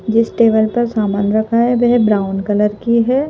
जिस टेबल पर सामान रखा है वह ब्राउन कलर की है।